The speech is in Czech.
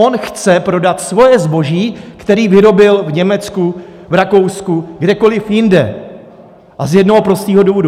On chce prodat svoje zboží, které vyrobil v Německu, v Rakousku, kdekoli jinde, a z jednoho prostého důvodu.